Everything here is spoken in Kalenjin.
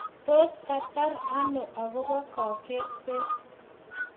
Tos kertai ano akobo kaketset